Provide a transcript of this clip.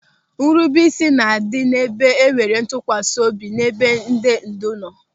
Nrubeisi na-adị n'ebe enwere ntụkwasị obi n'ebe ndị ndu nọ.